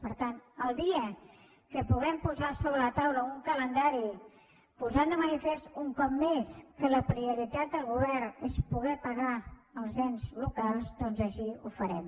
per tant el dia que puguem posar sobre la taula un calendari posant de manifest un cop més que la prioritat del govern és poder pagar els ens locals doncs així ho farem